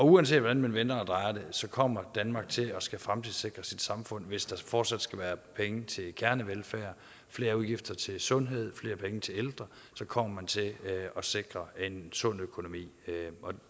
uanset hvordan man vender og drejer det kommer danmark til at skulle fremtidssikre samfundet hvis der fortsat skal være penge til kernevelfærd flere udgifter til sundhed flere penge til ældre kommer man til at sikre en sund økonomi